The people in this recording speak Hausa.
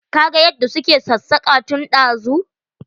Ka ga yadda su ke ksassaka tun dazu.